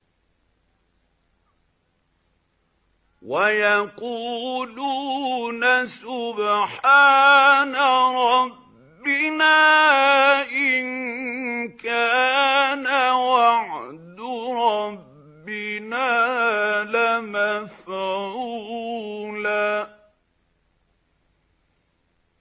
وَيَقُولُونَ سُبْحَانَ رَبِّنَا إِن كَانَ وَعْدُ رَبِّنَا لَمَفْعُولًا